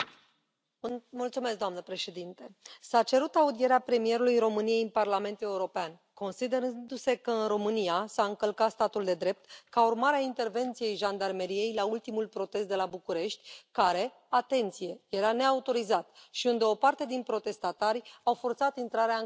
Doamnă președintă, s a cerut audierea premierului României în Parlamentul European, considerându se că în România s a încălcat statul de drept ca urmare a intervenției jandarmeriei la ultimul protest de la București, care, atenție, era neautorizat și unde o parte din protestatari au forțat intrarea în clădirea Guvernului.